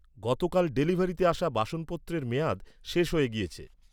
গতকাল ডেলিভারিতে আসা বাসনপত্রের মেয়াদ শেষ হয়ে গিয়েছে।